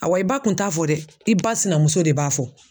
Awa i ba tun t'a fɔ dɛ i ba sinamuso de b'a fɔ.